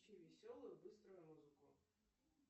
включи веселую быструю музыку